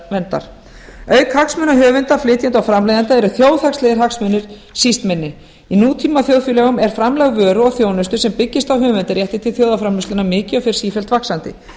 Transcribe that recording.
höfundaréttarverndar auk hagsmuna höfunda flytjenda og framleiðenda eru þjóðhagslegir hagsmunir síst minni í nútímaþjóðfélögum er framlag vöru og þjónustu sem byggist á höfundarétti til þjóðarframleiðslunnar mikið og fer sífellt vaxandi